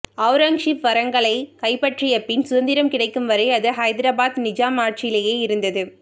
ஔரங்கசீப் வரங்கலைக் கைப்பற்றியபின் சுதந்திரம் கிடைக்கும்வரை அது ஹைதராபாத் நிஜாம் ஆட்சியிலேயே இருந்தது